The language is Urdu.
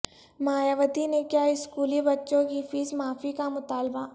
مایاوتی نے کیا اسکولی بچوں کی فیس معافی کا مطالبہ